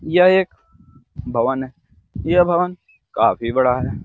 यह एक भवन है यह भवन काफी बड़ा है।